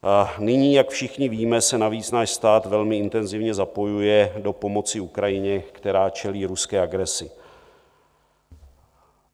Nyní, jak všichni víme, se navíc náš stát velmi intenzivně zapojuje do pomoci Ukrajině, která čelí ruské agresi.